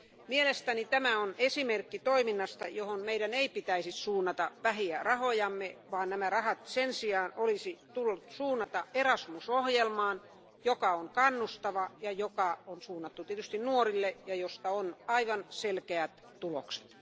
Mielestäni tämä on esimerkki toiminnasta, johon meidän ei pitäisi suunnata vähiä rahojamme, vaan nämä rahat olisi sen sijaan pitänyt suunnata Erasmus ohjelmaan, joka on kannustava, ja joka on suunnattu tietysti nuorille, ja josta on aivan selkeät tulokset.